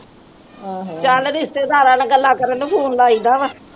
ਚਲ ਰਿਸ਼ਤੇਦਾਰਾਂ ਨਾਲ ਗੱਲਾ ਕਰਨ ਨੂੰ ਫੋਨ ਲਈ ਦਾ ਵਾ